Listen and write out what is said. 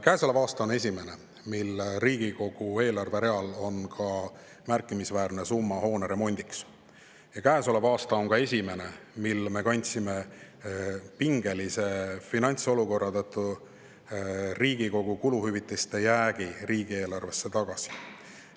Käesolev aasta on esimene, mil Riigikogu eelarves on märkimisväärne summa hoone remondiks, ja käesolev aasta on ka esimene, mil me kandsime pingelise finantsolukorra tõttu Riigikogu kuluhüvitiste jäägi riigieelarvesse tagasi.